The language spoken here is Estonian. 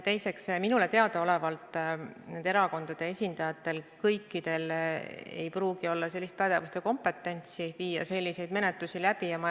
Teiseks, minule teada olevalt nendel erakondade esindajatel ei pruugi kõigil olla pädevust või kompetentsi selliseid menetlusi läbi viia.